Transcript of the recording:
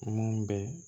Mun bɛ